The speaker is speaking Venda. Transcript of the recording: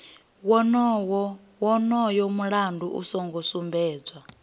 wonoyo mulayo u songo sumbedzwa